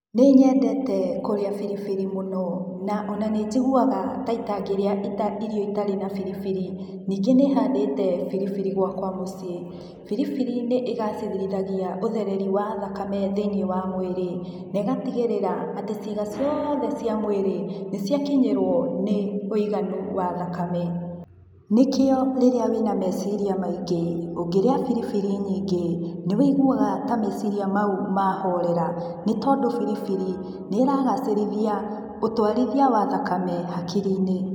Nĩ nyendete kũrĩa biribiri mũno na ona nĩnjiguaga ta ita ngĩrĩa irio itarĩ na biribiri, ningĩ nĩ handĩte biribiri gwakwa mũciĩ, biribiri nĩ ĩgacĩrithagia ũthereri wa thakame thĩinĩ wa mwĩrĩ negatigĩrĩra atĩ ciĩga ciothe cia mwĩrĩ nĩ cia kinyĩrwo nĩ wũiganu wa thakame, nĩkĩo rĩrĩa wĩna meciria maingĩ ũngĩrĩa biribiri nyingĩ nĩ wũiguaga ta meciria mau mahorera nĩ tondũ biribiri nĩ ragacĩrithia ũtwarithia wa thakame hakiri-inĩ